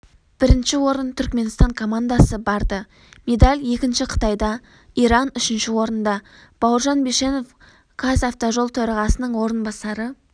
бірінші орын түркіменстан командасы барды медаль екінші қытайда иран үшінші орында бауыржан бишенов қазавтожол төрағасының орынбасары